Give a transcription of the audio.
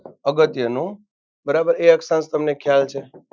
અગત્યનો બરાબર એ અક્ષાંશ તમને ખ્યાલ છે.